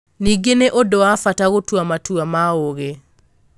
Ningĩ nĩ ũndũ wa bata gũtua matua ma ũũgĩ.